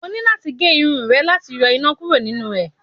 o ni lati ge Irun e lati yo ina kuro ninú e